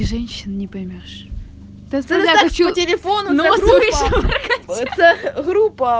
женщин не поймёшь